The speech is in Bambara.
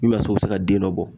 N'a y'a sɔrɔ u bɛ se ka den dɔ bɔ.